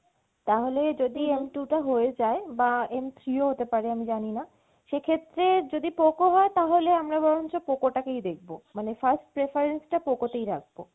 তাহলে যদি M two টা হয়ে যায় বা M three ও হতে পারে আমি জানিনা সেক্ষেত্রে যদি Poco হয় আমরা বরঞ্চ Poco টা কেই দেখবো মানে first preference টা Poco তেই রাখবো।